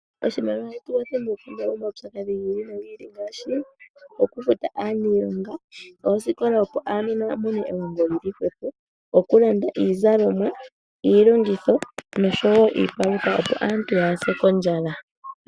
Oshimaliwa ohashi tu kwathele moku kandula po omaupyakadhi gi ili nogi ili, ngaashi oku futa aanilonga, oosikola opo aanona ya mone elongo lyili hwepo, oku landa iizalomwa, iilongitho, noshowo iipalutha opo aanta kaya se kondjala.